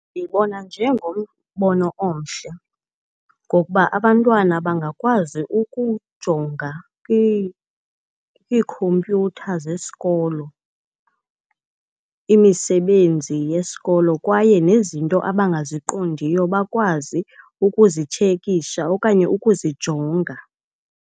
Ndiwubona njengombono omhle ngokuba abantwana bangakwazi ukujonga kwiikhompyutha zesikolo imisebenzi yesikolo kwaye nezinto abangaziqondiyo bakwazi ukuzitshekisha okanye ukuzijonga.